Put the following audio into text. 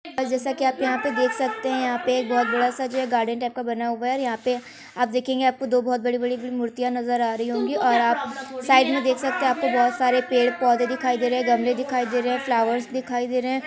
-- जैसा कि आप यहाँ पर दख सकते हैं। यहाँ पे जो है बोहोत बड़ा सा गार्डन टाइप का बना हुआ है। यहाँ पे आप देख्नेगे आपको बोहोत बड़ी बड़ी मूर्तिया नज़र आ रही होंगी और आप साइड में देख सकते हैं आपको बोहोत बहु सारे पेड़-पौधे दिखाई दे रहे हैं गमले दिखाई दे रहे हैं फ्लावर्स दिखाई दे रहे हैं।